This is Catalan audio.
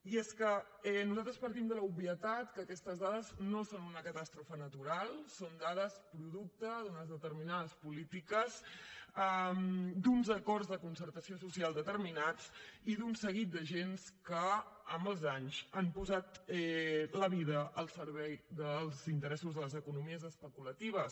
i és que nosaltres partim de l’obvietat que aquestes dades no són una catàstrofe natural són dades producte d’unes determinades polítiques d’uns acords de concertació social determinats i d’un seguit d’agents que amb els anys han posat la vida al servei dels interessos de les economies especulatives